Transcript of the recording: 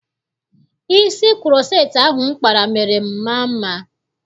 Isi kuroceti ahụ m kpara mere m maa mma.